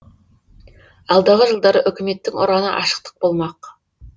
алдағы жылдары үкіметтің ұраны ашықтық болмақ